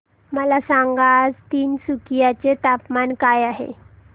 मला सांगा आज तिनसुकिया चे तापमान काय आहे